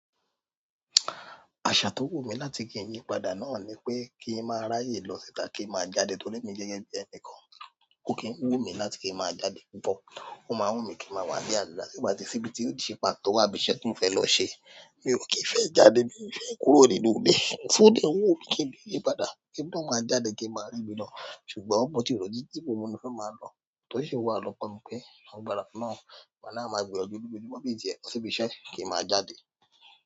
Àṣà tó wù mí láti kí n yí padà náà ni pé kí n máa ráyè lọ síta kí n máa jáde torí èmi gẹ́gẹ́ bí ẹnì kan kò kì ń wù mí láti kí n máa jáde. Ó máa ń wù mí kí n máa wà nílé àdúrà tí ò bá tí síbí tí ó ṣe pàtó àbí iṣẹ́ tí mo fẹ́ lọ ṣe. Mi ò kì í fẹ́ jáde bí mo fẹ́ kúrò nínú ilé. Òfúùdù ó wù mí kí n bí ìyí padà kí n máa jáde kí n máa ríbi lọ. Ṣùgbọ́n mo tí ròó títí tí mo mọ̀ ní fẹ́ máa lọ, tòṣi wà lọ kọ́ mi pé, ọgbà náà máa gbé ọkọ̀ ojú omi mọ́bí ìjẹ iṣẹ́ bí iṣẹ́ kí n máa jáde.